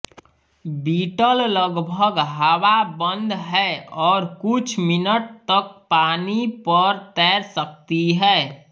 beetle लगभग हवा बंद है और कुछ मिनट तक पानी पर तैर सकती है